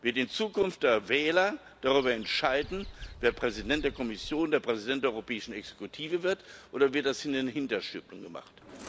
Wird in Zukunft der Wähler darüber entscheiden, wer Präsident der Kommission, wer Präsident der europäischen Exekutive wird, oder wird das in den Hinterstübchen gemacht?